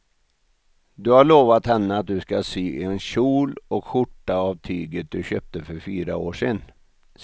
Du har lovat henne att du ska sy en kjol och skjorta av tyget du köpte för fyra år sedan.